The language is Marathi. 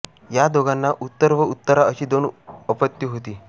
या दोघांना उत्तर व उत्तरा अशी दोन अपत्ये होती